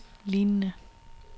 lignende